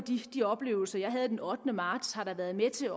de oplevelser jeg havde den ottende marts har været med til